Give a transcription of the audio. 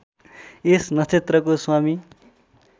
यस नक्षत्रको स्वामी